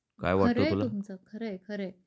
खर आहे तुमच खर आहे खर आहे